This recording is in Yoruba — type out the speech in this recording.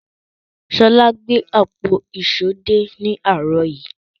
Ṣọlá gbé àpò ìṣó dé ní àárọ̀ yìí.